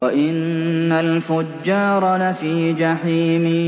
وَإِنَّ الْفُجَّارَ لَفِي جَحِيمٍ